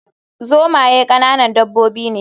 Zomaye ƙananan dabbobi ne